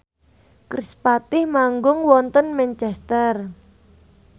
kerispatih manggung wonten Manchester